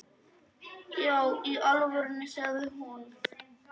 Já í alvöru, sagði hún.